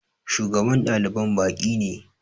Shugaban ɗaliban baƙi ne